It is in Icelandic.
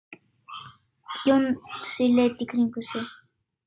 Jónsi leit í kringum sig.